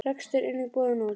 Rekstur einnig boðinn út.